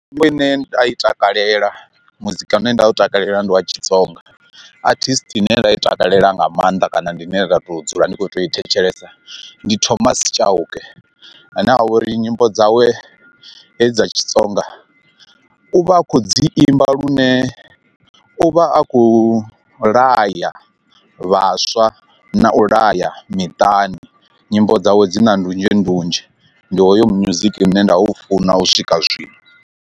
Mitambo ine nda i takalela muzika une nda u takalela ndi wa tshitsonga, artist ine nda i takalela nga maanḓa kana ndi ine nda tou dzula ndi khou tea u i thetshelesa ndi Thomas Tshauke ane avha uri nyimbo dzawe hedzi dza tshitsonga, u vha a khou dzi imba lune u vha a khou laya vhaswa na u laya miṱani nyimbo dzawe dzina ndunzhendunzhe ndi hoyo music une nda u funa u swika zwino.